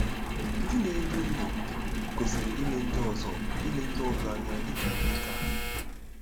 Ndị na-edu ndú kwesịrị ile ndị ọzọ ile ndị ọzọ anya dị ka ndị ka ha.